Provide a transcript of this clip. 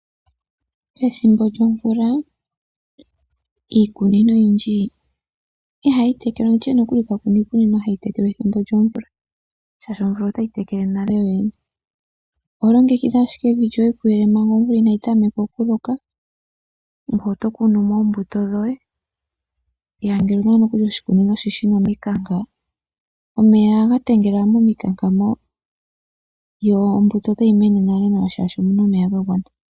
Pethimbo lyomvula iikunino oyindji ihayi tekelwa nenge tutye kapena iikunino hayi tekelwa methimbo lyomvula, oshoka omvula otayi tekele nale. Oho longekidha ashike evi lyoye kuyele manga omvula inayi tameka okuloka. Ngoye oto kunumo oombuto dhoye, ngele owuna nokuli oshikunino shina omikanka omeya ohaga tengele momikanka moka, yo ombuto otayi mene nale nale shaashi omuna omeya ga gwana.